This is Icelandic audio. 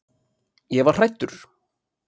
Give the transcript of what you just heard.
Ég var hræddur.